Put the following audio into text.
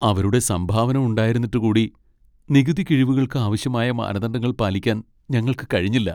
അവരുടെ സംഭാവന ഉണ്ടായിരുന്നിട്ടു കൂടി , നികുതി കിഴിവുകൾക്ക് ആവശ്യമായ മാനദണ്ഡങ്ങൾ പാലിക്കാൻ ഞങ്ങൾക്ക് കഴിഞ്ഞില്ല.